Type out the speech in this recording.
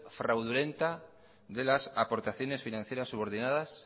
fraudulenta de las aportaciones financieras subordinadas